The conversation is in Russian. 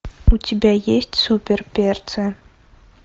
у тебя есть суперперцы